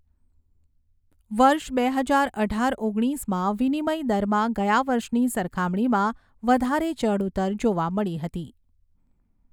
વર્ષ બે હજાર અઢાર ઓગણીસમાં વિનિમય દરમાં ગયા વર્ષની સરખામણીમાં વધારે ચઢઊતર જોવા મળી હતી.